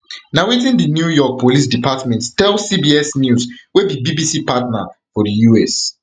na wetin di new york police department tell cbs news wey be bbc partner for di us